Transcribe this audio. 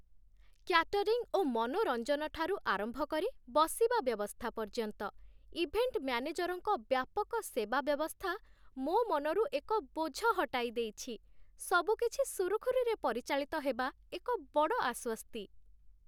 Catering ଓ ମନୋରଞ୍ଜନ ଠାରୁ ଆରମ୍ଭ କରି ବସିବା ବ୍ୟବସ୍ଥା ପର୍ଯ୍ୟନ୍ତ, ଇଭେଣ୍ଟ ମ୍ୟାନେଜରଙ୍କ ବ୍ୟାପକ ସେବା ବ୍ୟବସ୍ଥା, ମୋ ମନରୁ ଏକ ବୋଝ ହଟାଇ ଦେଇଛି, ସବୁକିଛି ସୁରୁଖୁରୁରେ ପରିଚାଳିତ ହେବା ଏକ ବଡ଼ ଆଶ୍ୱସ୍ତି!